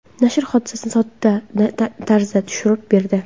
Nashr hodisani sodda tarzda tushuntirib berdi.